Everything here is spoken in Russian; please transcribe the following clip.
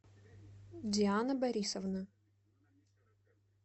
диана борисовна